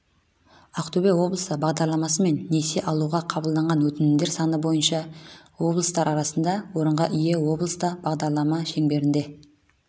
ақтөбе облысы бағдарламасымен несие алуға қабылданған өтінімдер саны бойынша облыстар арасында орынға ие облыста бағдарлама шеңберінде